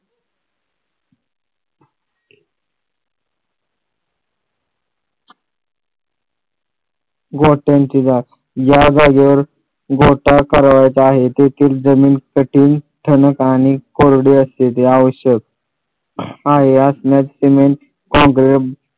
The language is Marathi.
गोठ्यांची जात या जागेवर गोठा करावयाचा आहे तेथील जमीन कठीण ठणक आणि कोरडी असलेली आवश्यक आहे असणारी सिमेंट